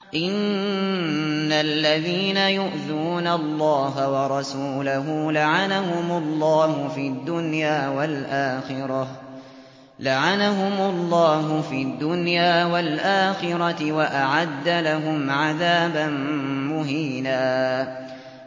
إِنَّ الَّذِينَ يُؤْذُونَ اللَّهَ وَرَسُولَهُ لَعَنَهُمُ اللَّهُ فِي الدُّنْيَا وَالْآخِرَةِ وَأَعَدَّ لَهُمْ عَذَابًا مُّهِينًا